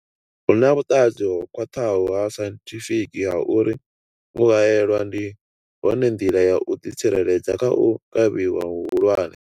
Hu na vhuṱanzi ho khwaṱhaho ha sainthifiki ha uri u haelwa ndi yone nḓila ya u ḓitsireledza kha u kavhiwa hu hulwane.